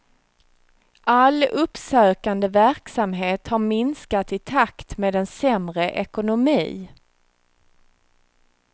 All uppsökande verksamhet har minskat i takt med en sämre ekonomi.